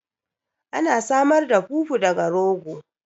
Ana samar da fufu daga rogo